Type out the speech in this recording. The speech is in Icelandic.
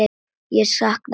Ég sakna þín strax, afi.